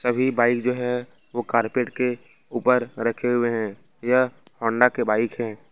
अभी बाइक जो है वह कारपेट के ऊपर रखे हुए हैं यह होंडा के बाइक हैं।